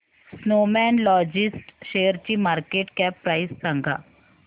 Snowman Logistics शेअरची market cap price सांगा